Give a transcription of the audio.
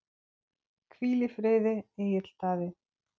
Hvíl í friði, Egill Daði.